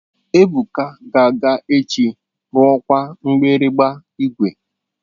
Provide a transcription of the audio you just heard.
Ebuka ga-aga echi rụkwaa mgbịrịgba igwe.